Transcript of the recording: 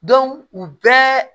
u bɛɛ